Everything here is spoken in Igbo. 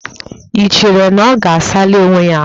I cheere na ọ ga-asali onwe ya ahụ?